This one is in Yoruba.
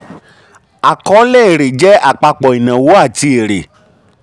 àkọọ́lẹ̀ èrè jẹ́ àpapọ̀ ìnáwó àti èrè.